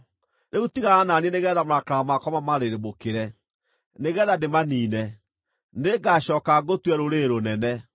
Rĩu tigana na niĩ nĩgeetha marakara makwa mamarĩrĩmbũkĩre, nĩgeetha ndĩmaniine. Nĩngacooka ngũtue rũrĩrĩ rũnene.”